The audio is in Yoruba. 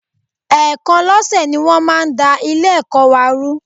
Ẹ̀ẹ̀kan lọ́sẹ̀ ni wọ́n máa ń da Ilé-ẹ̀kọ́ rú wa